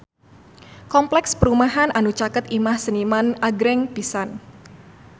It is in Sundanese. Kompleks perumahan anu caket Imah Seniman agreng pisan